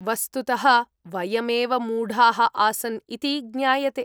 वस्तुतः, वयमेव मूढाः आसन् इति ज्ञायते।